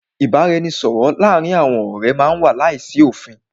Ìbáraẹnisọ̀rọ̀ láàárín àwọn ọ̀rẹ́ má n wà láìsí òfin.